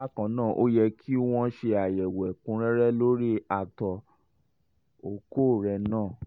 bákan náà ó yẹ kí wọ́n ṣe àyẹ̀wò ẹ̀kúnrẹ́rẹ́ lórí àtọ̀ ọkọ rẹ náà